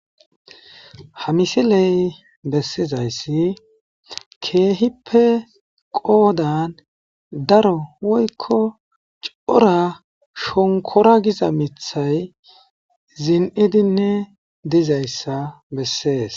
Ha misiley bessizayssi keehippe qoodan daro woykko cora shonkora giza mithay zin7idinne dizayssa bessees